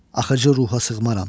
Axıcı ruha sığmaram.